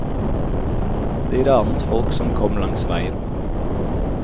De ranet folk som kom langs veien.